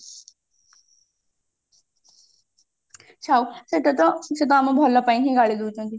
ସେଟା ତ ସେ ଆମ ଭଲ ପାଇଁ ହିଁ ଗାଳି ଦଉଛନ୍ତି